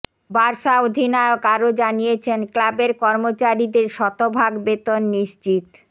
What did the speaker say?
Barca অধিনায়ক আরো জানিয়েছেন ক্লাবের কর্মচারীদের শতভাগ বেতন নিশ্চিত